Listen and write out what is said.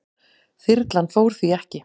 Þyrlan fór því ekki.